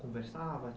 Conversava?